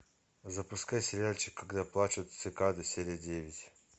запускай сериальчик когда плачут цикады серия девять